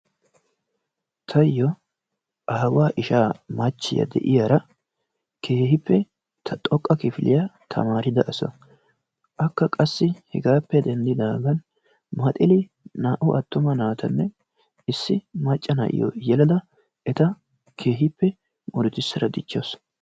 Tayoo aawaa ishshaa machchiyaa de'iyara keehippe xoqqa kifiliyaa taamirida asa. Akka assi hegaappe denddigaagan meexili naa"u attuma naatanne issi maacca na'iyoo yeelada eta keehippe murutissada diichchawus.